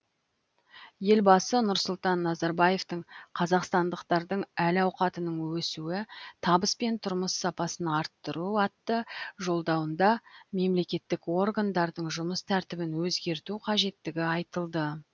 елбасы нұрсұлтан назарбаевтың қазақстандықтардың әл ауқатының өсуі табыс пен тұрмыс сапасын арттыру атты жолдауында мемлекеттік органдардың жұмыс тәртібін өзгерту қажеттігі айтылды